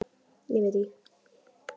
Með slegið hár niðrá brjóst.